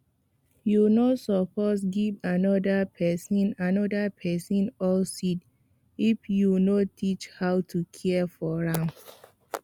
you no suppose give another person another person old seed if you no teach how to care for am